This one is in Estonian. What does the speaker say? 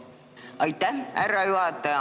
Aitäh, härra juhataja!